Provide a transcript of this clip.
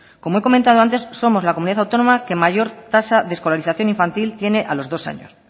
como he comentado antes somos la comunidad autónoma que mayor tasa de escolarización infantil tiene a los dos año